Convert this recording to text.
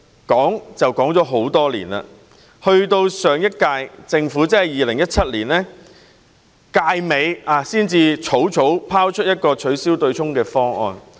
經過多年空談，上屆政府直至2017年任期快將屆滿前，才草草拋出一個取消對沖方案。